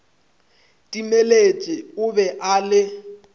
timeletše o be a le